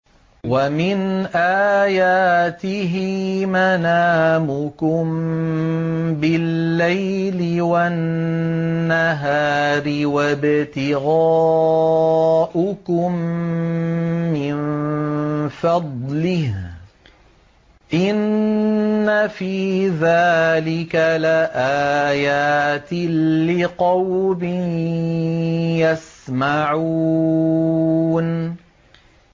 وَمِنْ آيَاتِهِ مَنَامُكُم بِاللَّيْلِ وَالنَّهَارِ وَابْتِغَاؤُكُم مِّن فَضْلِهِ ۚ إِنَّ فِي ذَٰلِكَ لَآيَاتٍ لِّقَوْمٍ يَسْمَعُونَ